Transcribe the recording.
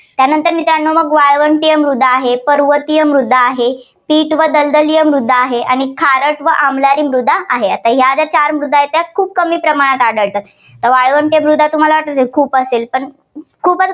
त्यानंतर मित्रांनो मग वाळवंटीय मृदा आहे. पर्वतीय मृदा आहे. दलदलीय मृदा आहे. आणि खारट व आम्लारी मृदा आहे. आता या ज्या चार मृदा आहेत, त्या खूप प्रमाणात आढळतात. तर वाळवंटीय मृदा तुम्हाला वाटेल खूप असेल पण खूपच